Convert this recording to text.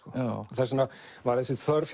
þess vegna var þessi þörf